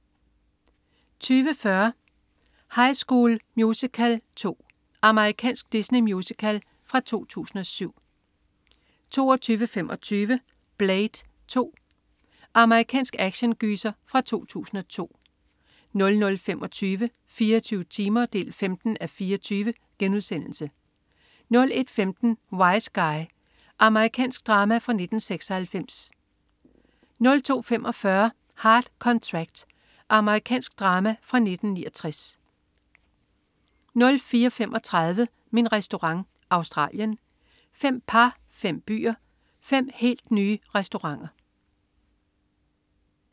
20.40 High School Musical 2. Amerikansk Disney-musical fra 2007 22.25 Blade 2. Amerikansk actiongyser fra 2002 00.25 24 timer 15:24* 01.15 Wiseguy. Amerikansk drama fra 1996 02.45 Hard Contract. Amerikansk drama fra 1969 04.35 Min Restaurant. Australien. Fem par, fem byer, fem helt nye restauranter